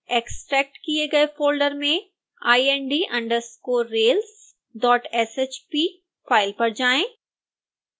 extract किए गए folder में ind_railsshp फाइल पर जाएं